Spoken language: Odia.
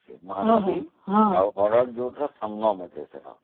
ହଁ ମହାନଦୀ ଆଉ ର ସଙ୍ଗମରେ ଅଛି